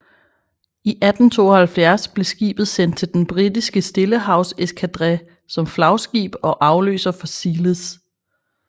I 1872 blev skibet sendt til den britiske Stillehavseskadre som flagskib og afløser for Zealous